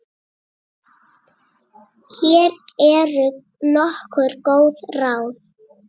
Hér eru nokkur góð ráð.